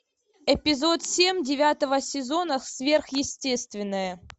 эпизод семь девятого сезона сверхъестественное